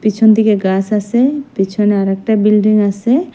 পিছনদিকে গাস আসে পিছনে আরেকটা বিল্ডিং আসে।